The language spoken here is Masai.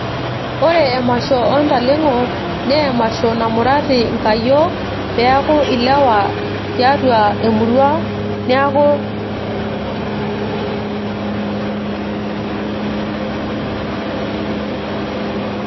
ore emasho oo ntaleng'o naa emasho namurati inkayiok, peeku ilewa tiatua emurua, niaku ninye ena.